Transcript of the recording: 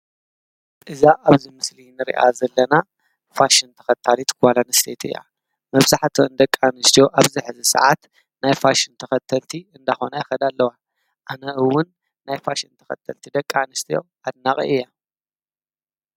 እዛ ኣብዚ ምስልን ርያ ዘለና ፋሽን ተኸታሊት ጓላንሴት ያ መብሳሕእተ እን ደቃ ንስዶ ኣብዚ ሕዚ ሰዓት ናይፋሽን ተኸተልቲ እንዳኾና ይኸዳ ኣለዋ ኣነእውን ናይፋሽን ተኸተልቲ ደቃ ንስጢ ኣድናቒ እያ